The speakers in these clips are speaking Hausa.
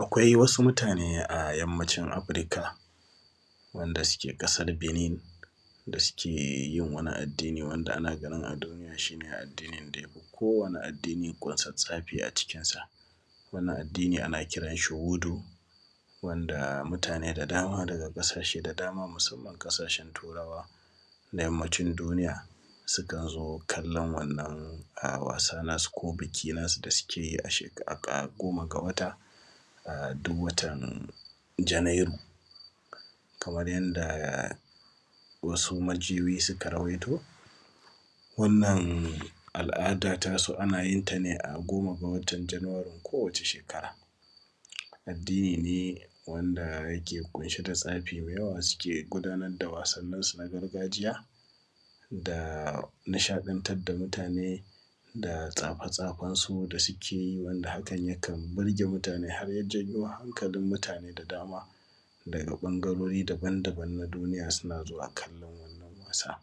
Akwai wasu mutane a Yammacin Afirika wanda suke ƙasar Benin da suke yin wani addini wanda ake ganin a duniya shi ne addinin da ya fi kowane addini ƙunsats tsafi a cikinsa. Wannan addini ana kiran shi “Wudu” wanda mutane da dama daga ƙasashe da dama musamman ƙasashen Turawa na Yammacin duniya, sukan zo kallon wannan wasa nasu ko biki nasu da sike yi a sheka; a kowane goma ga wata, a; duw watan Janairu. Kamar yadda wasu majiyoyi suka rawaito, wannan al’ada tasu ana yin ta ne a goma ga watan Januwaren kowace shekara. Addini ne wanda yake ƙunshe da tsafi me yawa sike gudanar da wasansu na gargajiya da nishaɗantad da mutane da tsafe-tsafensu da sike yi wanda hakan yakan birge mutane har ya janyo hankalin mutane da dama daga ƃangarori dabandaban na duniya suna zuwa kallon wannan wasa.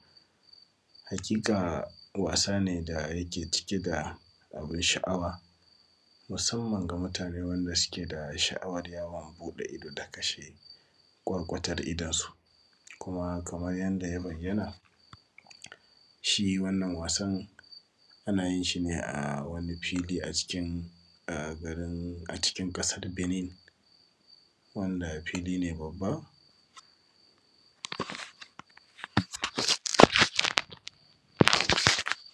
Hakika, wasa ne da yake cike da abin sha’awa musamman ga mutane wanda sike da sha’awar yawon buɗe ido da kashe ƙwarƙwatar idonsu. Kuma, kamar yanda ya bayyana, shi wannan wasan ana yin shi ne a cikin garin; a cikin ƙasar Benin, wanda fili ne babba.